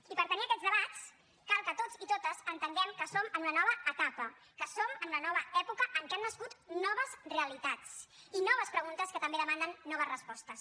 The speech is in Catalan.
i per tenir aquests debats cal que tots i totes entenguem que som en una nova etapa que som en una nova època en què han nascut noves realitats i noves preguntes que també demanden noves respostes